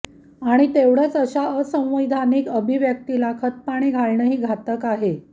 आणि तेवढच अशा असांविधानिक अभिव्यक्तीला खतपाणी घालणंही घातक आहे